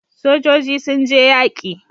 Sojoji sun je yaƙi